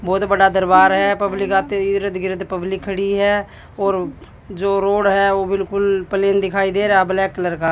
बहोत बड़ा दरबार है पब्लिक आती हुई इर्द गिर्द पब्लिक खड़ी है और जो रोड है वो बिल्कुल दिखाई दे रहा है ब्लैक कलर का--